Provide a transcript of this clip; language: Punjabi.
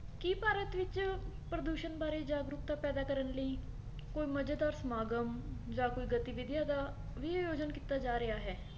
ਕੀ ਭਾਰਤ ਵਿੱਚ ਪ੍ਰਦੂਸ਼ਣ ਬਾਰੇ ਜਾਗਰੂਕਤਾ ਪੈਦਾ ਕਰਨ ਲਈ ਕੋਈ ਮਜੇਦਾਰ ਸਮਾਗਮ ਜਾਂ ਕੋਈ ਗਤੀਵਿਧੀਆਂ ਦਾ ਵੀ ਆਯੋਜਨ ਕੀਤਾ ਜਾ ਰਿਹਾ ਹੈ